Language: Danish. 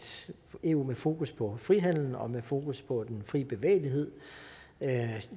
eu med fokus på frihandel og med fokus på den fri bevægelighed